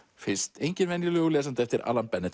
fyrst enginn venjulegur lesandi eftir